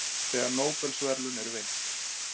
þegar nóbelsverðlaun eru veitt